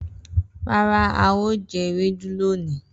Rara, ao je ewedu loni.